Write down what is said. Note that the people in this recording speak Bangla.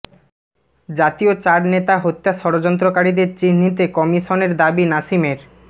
জাতীয় চার নেতা হত্যা ষড়যন্ত্রকারীদের চিহ্নিতে কমিশনের দাবি নাসিমের